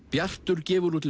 bjartur gefur út